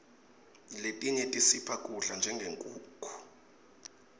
letinye tisipha kudla njengenkhukhu